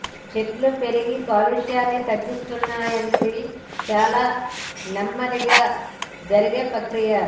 చెట్లు పెరిగి కాలుష్యాన్ని తగ్గిస్తాయన్నది చాలా నెమ్మదిగా జరిగే ప్రక్రియ